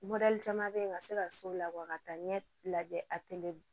caman bɛ yen ka se ka so labɔ ka taa ɲɛ lajɛ a tɛmɛ